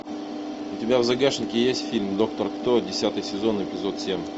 у тебя в загашнике есть фильм доктор кто десятый сезон эпизод семь